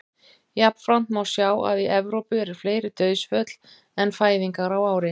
Jafnframt má sjá að í Evrópu eru fleiri dauðsföll en fæðingar á ári.